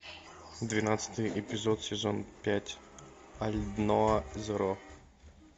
двенадцатый эпизод сезон пять алдноа зеро